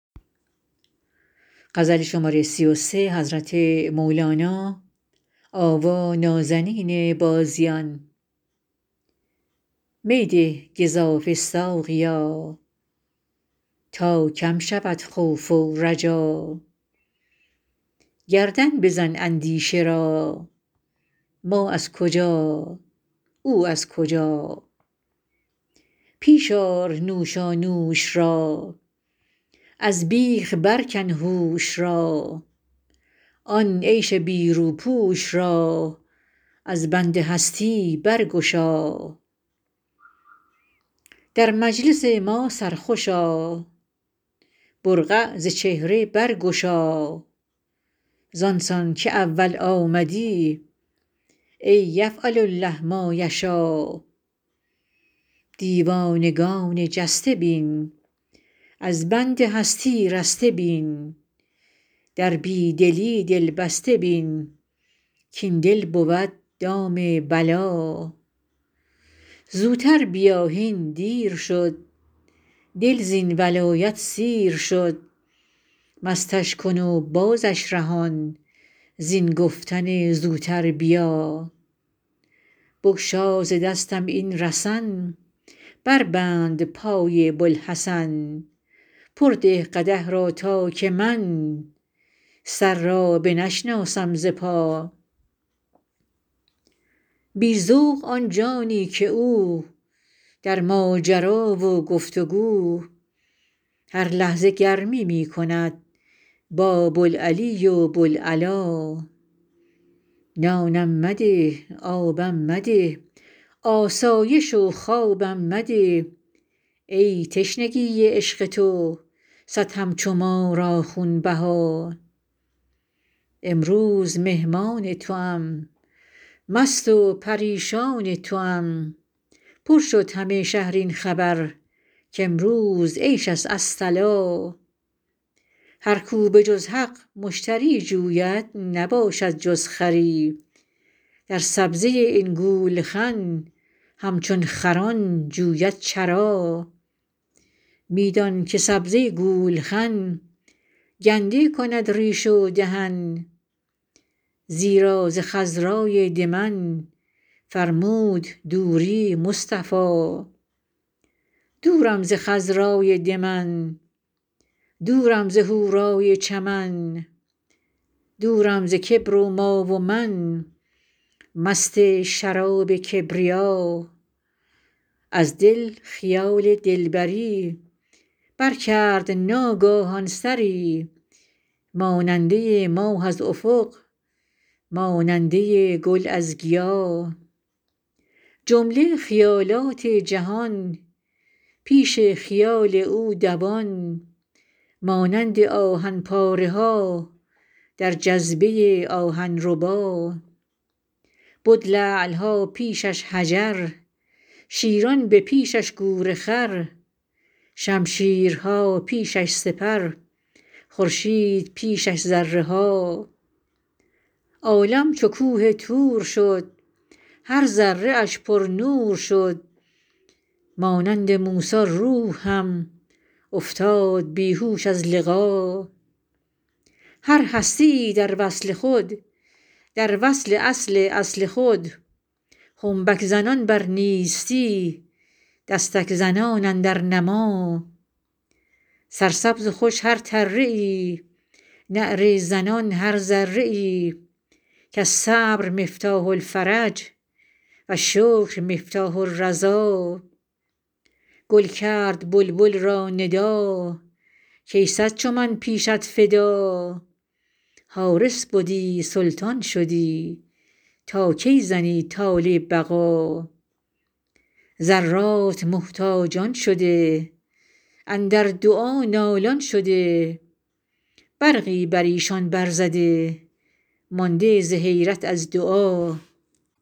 می ده گزافه ساقیا تا کم شود خوف و رجا گردن بزن اندیشه را ما از کجا او از کجا پیش آر نوشانوش را از بیخ برکن هوش را آن عیش بی روپوش را از بند هستی برگشا در مجلس ما سرخوش آ برقع ز چهره برگشا زان سان که اول آمدی ای یفعل الله ما یشاٰ دیوانگان جسته بین از بند هستی رسته بین در بی دلی دل بسته بین کاین دل بود دام بلا زوتر بیا هین دیر شد دل زین ولایت سیر شد مستش کن و بازش رهان زین گفتن زوتر بیا بگشا ز دستم این رسن بربند پای بوالحسن پر ده قدح را تا که من سر را بنشناسم ز پا بی ذوق آن جانی که او در ماجرا و گفت و گو هر لحظه گرمی می کند با بوالعلی و بوالعلا نانم مده آبم مده آسایش و خوابم مده ای تشنگی عشق تو صد همچو ما را خونبها امروز مهمان توام مست و پریشان توام پر شد همه شهر این خبر کامروز عیش است الصلاٰ هر کو به جز حق مشتری جوید نباشد جز خری در سبزه این گولخن همچون خران جوید چرا می دان که سبزه گولخن گنده کند ریش و دهن زیرا ز خضرای دمن فرمود دوری مصطفی دورم ز خضرای دمن دورم ز حورای چمن دورم ز کبر و ما و من مست شراب کبریا از دل خیال دلبری برکرد ناگاهان سری ماننده ی ماه از افق ماننده ی گل از گیا جمله خیالات جهان پیش خیال او دوان مانند آهن پاره ها در جذبه آهن ربا بد لعل ها پیش اش حجر شیران به پیش اش گورخر شمشیرها پیش اش سپر خورشید پیش اش ذره ها عالم چو کوه طور شد هر ذره اش پرنور شد مانند موسی روح هم افتاد بی هوش از لقا هر هستی ای در وصل خود در وصل اصل اصل خود خنبک زنان بر نیستی دستک زنان اندر نما سرسبز و خوش هر تره ای نعره زنان هر ذره ای کالصبر مفتاح الفرج و الشکر مفتاح الرضا گل کرد بلبل را ندا کای صد چو من پیشت فدا حارس بدی سلطان شدی تا کی زنی طال بقا ذرات محتاجان شده اندر دعا نالان شده برقی بر ایشان برزده مانده ز حیرت از دعا السلم منهاج الطلب الحلم معراج الطرب و النار صراف الذهب و النور صراف الولا العشق مصباح العشا و الهجر طباخ الحشا و الوصل تریاق الغشا یا من علی قلبی مشا الشمس من افراسنا و البدر من حراسنا و العشق من جلاسنا من یدر ما فی راسنا یا سایلی عن حبه اکرم به انعم به کل المنی فی جنبه عند التجلی کالهبا یا سایلی عن قصتی العشق قسمی حصتی و السکر افنی غصتی یا حبذا لی حبذا الفتح من تفاحکم و الحشر من اصباحکم القلب من ارواحکم فی الدور تمثال الرحا اریاحکم تجلی البصر یعقوبکم یلقی النظر یا یوسفینا فی البشر جودوا بما الله اشتری الشمس خرت و القمر نسکا مع الاحدی عشر قدامکم فی یقظه قدام یوسف فی الکری اصل العطایا دخلنا ذخر البرایا نخلنا یا من لحب او نوی یشکوا مخالیب النوی